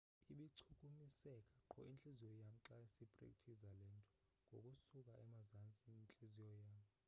ibichukumiseka qho intliziyo yam xa siprekthiza le nto ngokusuka emazantsi entliziyo yam